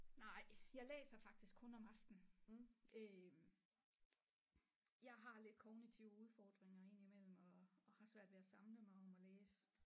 Nej jeg læser faktisk kun om aftenen øh jeg har lidt kognitive udfordringer ind imellem og og har svært ved at samle mig om at læse